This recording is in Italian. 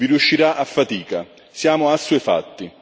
Vi riuscirà a fatica, siamo assuefatti.